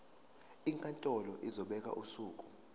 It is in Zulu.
inkantolo izobeka usuku